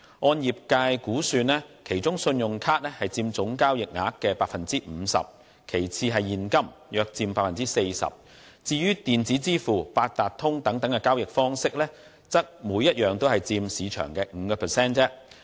按業界估算，其中信用卡佔總交易額的 50%； 其次是現金，約佔 40%； 至於電子支付、八達通等交易方式，則各佔市場的 5%。